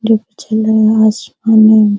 धुप खिला हुआ आसमानो मे --